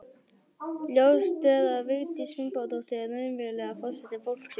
Ljóst er að Vigdís Finnbogadóttir er raunverulega forseti fólksins.